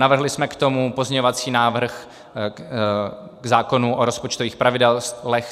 Navrhli jsme k tomu pozměňovací návrh k zákonu o rozpočtových pravidlech.